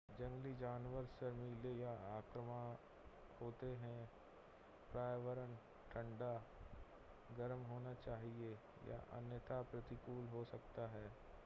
जंगली जानवर शर्मीले या आक्रामक हो सकते हैं पर्यावरण ठंडा गर्म होना चाहिए या अन्यथा प्रतिकूल हो सकता है